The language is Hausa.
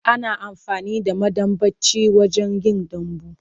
Ana amfani da madambaci wajen yin dambu.